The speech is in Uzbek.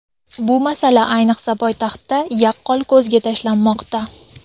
Bu masala ayniqsa poytaxtda yaqqol ko‘zga tashlanmoqda.